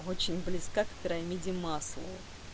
очень близка к пирамиде маслоу